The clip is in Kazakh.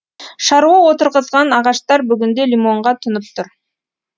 шаруа отырғызған ағаштар бүгінде лимонға тұнып тұр